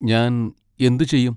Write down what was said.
ഞാൻ എന്ത് ചെയ്യും?